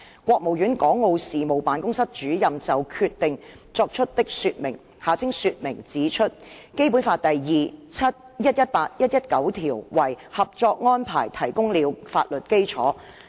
國務院港澳事務辦公室主任就《決定》作出的說明指出，《基本法》第二、七、一百一十八和一百一十九條為《合作安排》提供了法律基礎。